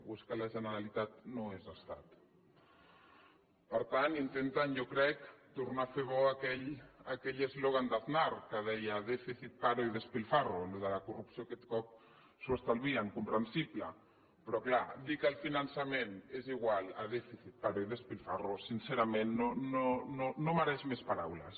o és que la generalitat no és estat per tant intenten jo crec tornar a fer bo aquell eslògan d’aznar que deia déficit paro y despilfarro el de la corrupció aquest cop se l’estalvien comprensible però clar dir que el finançament és igual a déficit paro y despilfarro sincerament no mereix més paraules